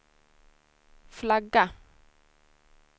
flagga